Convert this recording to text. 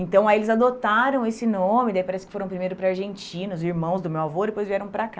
Então aí eles adotaram esse nome, daí parece que foram primeiro para a Argentina, os irmãos do meu avô, depois vieram para cá.